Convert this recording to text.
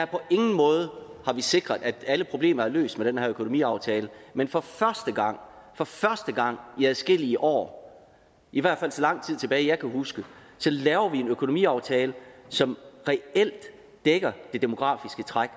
på ingen måde sikret at alle problemer er løst med den her økonomiaftale men for for første gang i adskillige år i hvert fald så lang tid tilbage jeg kan huske laver vi en økonomiaftale som reelt dækker det demografiske træk